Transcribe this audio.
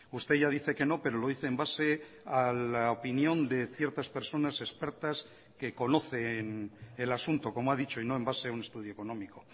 usted ya dice que no pero lo dice en base a la opinión de ciertas personas expertas que conocen el asunto como ha dicho y no en base a un estudio económico